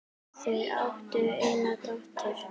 Þau áttu eina dóttur.